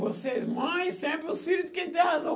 Vocês mãe, sempre os filhos tem que ter razão.